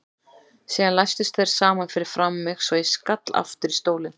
Síðan læstust þeir saman fyrir framan mig svo ég skall aftur í stólinn.